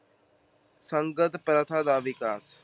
ਸੰਗਤ ਪ੍ਰਥਾ ਦਾ ਵਿਕਾਸ